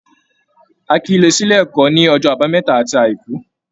A kìí lọ s'ílé ẹ́kọ̀ ní ọjọ́ àbámẹ́ta àti àìkú.